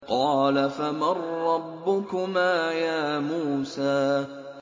قَالَ فَمَن رَّبُّكُمَا يَا مُوسَىٰ